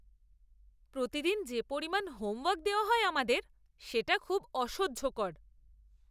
প্রতিদিন যে পরিমাণ হোমওয়ার্ক দেওয়া হয় আমাদের সেটা খুব অসহ্যকর!